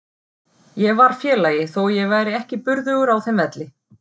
Ég var félagi þó að ég væri ekki burðugur á þeim velli.